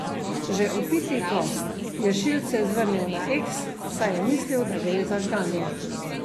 Že opiti gost je šilce zvrnil na eks, saj je mislil, da gre za žganje.